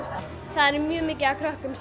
það er mjög mikið af krökkum